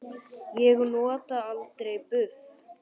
Ég nota aldrei buff.